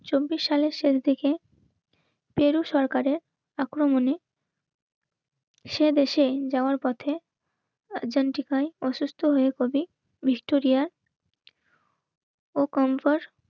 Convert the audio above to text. চব্বিশ সালের শেষ দিকে পেরু সরকারের আক্রমণে সে দেশে যাওয়ার পথে একজন কি কয় অসুস্থ হয়ে কবি বিস্টুরিয়ার ও কমফোর্ট